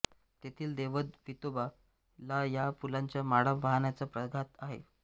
तेथील दैवत वेतोबा ला या फुलांच्या माळा वाहण्याचा प्रघात आहे